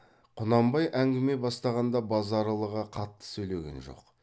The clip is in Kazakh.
құнанбай әңгіме бастағанда базаралыға қатты сөйлеген жоқ